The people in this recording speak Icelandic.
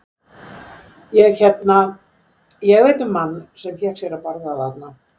Ég hérna. ég veit um mann sem fékk sér að borða þarna.